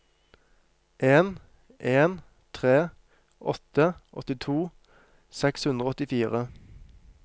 en en tre åtte åttito seks hundre og åttifire